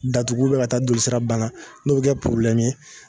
Datugu ubiyɛn ka taa jolisira balan n'o be kɛ porobilɛmu ye